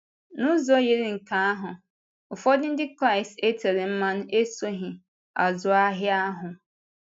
N’ụzọ yiri nke ahụ, ụfọdụ Ndị Kraịst e tere mmanụ esoghị “azụ ahịa” ahụ.